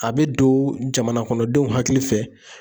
A bɛ don jamana kɔnɔ denw hakili fɛ